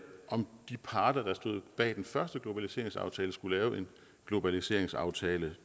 om de parter der stod bag den første globaliseringsaftale skulle lave en globaliseringsaftale